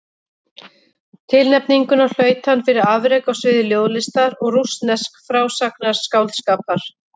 Tilnefninguna hlaut hann fyrir afrek á sviði ljóðlistar og rússnesks frásagnarskáldskapar.